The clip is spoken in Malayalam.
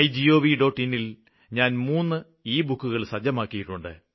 in ല് ഞാന് മൂന്ന് ലബുക്ക് സജ്ജമാക്കിയിട്ടുണ്ട്